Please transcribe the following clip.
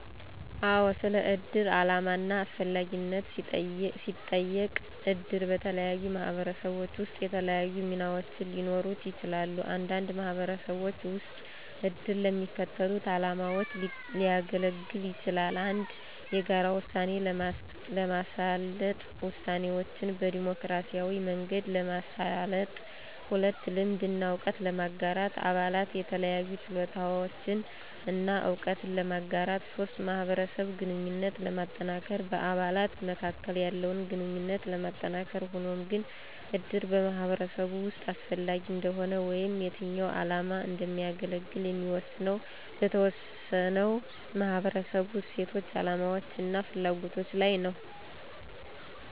አዎ! ስለ እድር ዓላማ እና አስፈላጊነት ሲጠየቅ - እድር በተለያዩ ማህበረሰቦች ውስጥ የተለያዩ ሚናዎች ሊኖሩት ይችላል። አንዳንድ ማህበረሰቦች ውስጥ እድር ለሚከተሉት ዓላማዎች ሊያገለግል ይችላል - 1. የጋራ ውሳኔ ለማሳለጥ - ውሳኔዎችን በዴሞክራሲያዊ መንገድ ለማሳለጥ 2. ልምድ እና እውቀት ለማጋራት - አባላት የተለያዩ ችሎታዎችን እና እውቀትን ለማጋራት 3. ማህበረሰብ ግንኙነት ለማጠናከር - በአባላት መካከል ያለውን ግንኙነት ለማጠናከር ሆኖም ግን፣ እድር በማህበረሰብ ውስጥ አስፈላጊ እንደሆነ ወይም የትኛው ዓላማ እንደሚያገለግል የሚወሰነው በተወሰነው ማህበረሰብ እሴቶች፣ አላማዎች እና ፍላጎቶች ላይ ነው።